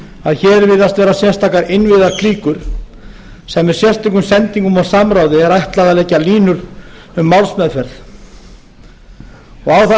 að hér virðast vera sérstakar innvígðar klíkur sem með sérstökum sendingum og samráði er ætlað að leggja línur um málsmeðferð og á það